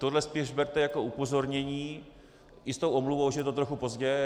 Toto spíš berte jako upozornění i s tou omluvou, že je to trochu pozdě.